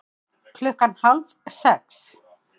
Klukkan hálf sex